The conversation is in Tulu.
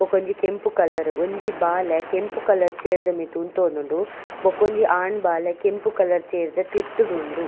ಬಕೊಂಜಿ ಕೆಂಪು ಕಲರ್ ಒಂಜಿ ಬಾಲೆ ಕೆಂಪು ಕಲರ್ ಚೇರ್ ದ ಮಿತ್ತ್ ಉಂತೋಂದುಂಡು ಬಕೊಂಜಿ ಆನ್ ಬಾಲೆ ಕೆಂಪು ಕಲರ್ ಚೇರ್ದ ತಿರ್ತುಡುಂಡು.